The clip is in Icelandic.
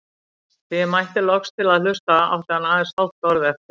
Þegar ég mætti loks til að hlusta átti hann aðeins hálft orð eftir.